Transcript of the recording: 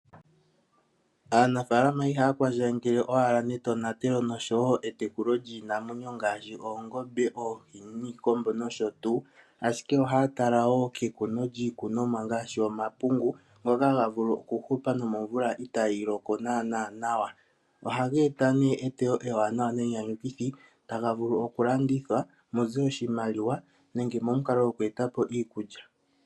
Aanafaalama ihaya kwandjangele owala netonatelo noshowo etekulo lyiinamwenyo ngaashi oongombe, oohi, iikombo nosho tuu, ashike ohaya tala wo kekuno lyiimeno ngaashi omapungu ngoka haga vulu okuhupa nomomvula itaayi loko naana nawa. Ohaga ete wo eewanawa ne nyanyukithi tali hokitha, tali vulu oku landithwa mute oshimaliwa nenge momukalo goku eta po iikulya.